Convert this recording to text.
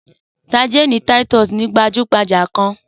Sadínì títọ́sì gbajú-gbajà gan-an.